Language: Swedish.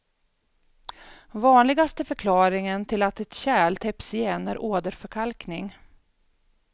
Vanligaste förklaringen till att ett kärl täpps igen är åderförkalkning.